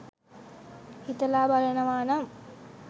හිතලා බලනවානම්